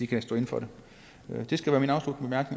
kan stå inde for det det skal være mine afsluttende